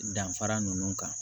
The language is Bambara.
Danfara ninnu kan